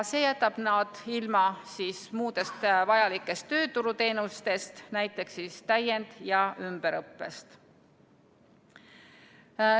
See jätab nad ilma muudest vajalikest tööturuteenustest, näiteks täiend- ja ümberõppest.